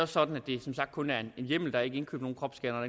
sådan at det som sagt kun er en hjemmel der er ikke indkøbt nogen kropsscannere og